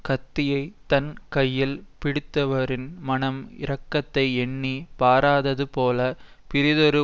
கத்தியைத் தன் கையில் பிடித்திருப்பவரின் மனம் இரக்கத்தை எண்ணி பாராதது போல பிறிதொரு